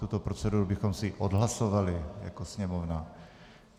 Tuto proceduru bychom si odhlasovali jako Sněmovně.